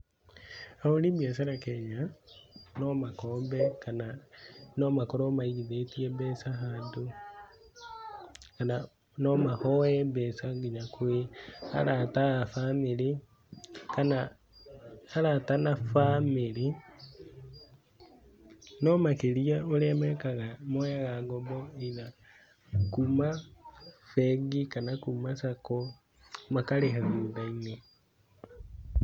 Ahũri biacara Kenya no makombe kana no makorwo maigithĩtie mbeca handũ kana no mahoe mbeca nginya kwĩ arata a bamĩrĩ, kana arata na bamĩrĩ, no makĩria ũrĩa mekaga moyaga ngombo either kuma bengi kana kuma sako makarĩha thutha-inĩ.